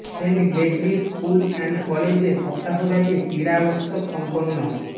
Saint Gregory School and কলেজে সপ্তাহব্যাপী ক্রীড়া উত্সব সম্পন্ন